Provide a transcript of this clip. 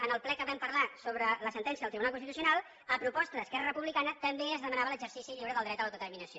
en el ple que vam parlar sobre la sentència del tribunal constitucional a proposta d’esquerra republicana també es demanava l’exercici lliure del dret a l’autodeterminació